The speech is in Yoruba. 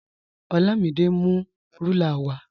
Olamide n mú rúlà wà.